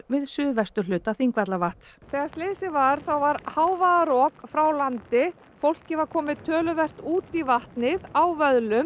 við suðvesturhluta Þingvallavatns þegar slysið varð þá var hávaðarok frá landi fólkið var komið töluvert út í vatnið á